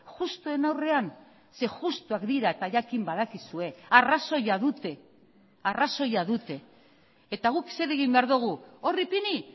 justuen aurrean ze justuak dira eta jakin badakizue arrazoia dute arrazoia dute eta guk zer egin behar dugu hor ipini